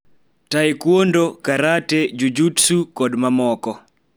Taekwondo, karate, jujutsu, kod mamoko.